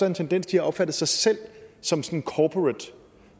en tendens til at opfatte sig selv som som corporate